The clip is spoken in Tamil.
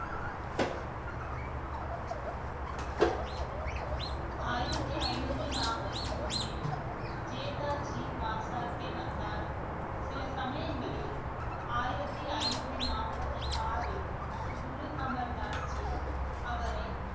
ஆயிரத்தி ஐநூத்தி நாற்பத்தி ஒண்ணில் ஜேதாஜி வந்தார் சில சமயங்களில் ஆயிரத்தி ஐநூத்தி நாற்பத்தி ஆறில் குரு அமர் தாஸ் ஜி அவரை